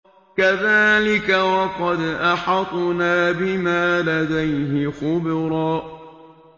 كَذَٰلِكَ وَقَدْ أَحَطْنَا بِمَا لَدَيْهِ خُبْرًا